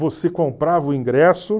Você comprava o ingresso.